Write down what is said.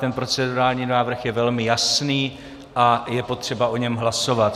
Ten procedurální návrh je velmi jasný a je potřeba o něm hlasovat.